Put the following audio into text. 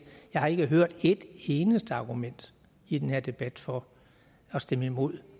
har hørt ét eneste argument i den her debat for at stemme imod